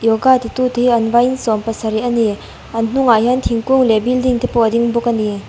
yoga ti tu te hi an vai in sawmpasarih a ni an hnung ah hian thingkung leh building te pawh a ding bawk a ni.